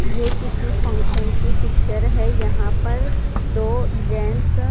ये किसी फंक्शन की पिक्चर है यहां पर दो जैन्ट्स --